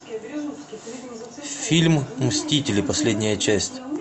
фильм мстители последняя часть